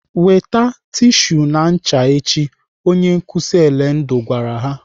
"Weta tishu na ncha echi!" Onye nkụzi Elendu gwara ha.